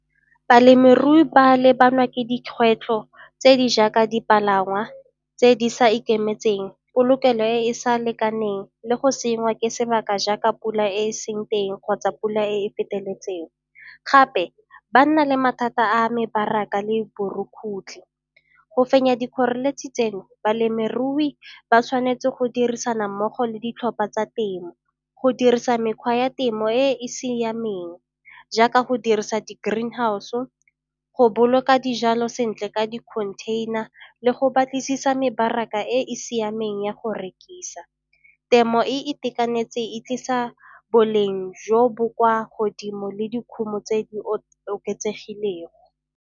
Balemirui ba lebana le dikgwetlho tse di jaaka dipalangwa tse di sa ikemetseng, polokelo e e sa lekaneng le go senngwa ke sebaka jaaka pula e seng teng kgotsa pula e feteletseng. Gape ba nna le mathata a mebaraka le borukgutlhi. Go fenya dikgoreletsi tseno balemirui ba tshwanetse go dirisana mmogo le ditlhopha tsa temo go dirisa mekgwa ya temo e e siameng jaaka go dirisa di-green house-o, go boloka dijalo sentle ka dikhontheina le go batlisisa mebaraka e e siameng ya go rekisa. Temo e e itekanetse e tlisa boleng jo bo kwa godimo le dikgomo tse di oketsegileng.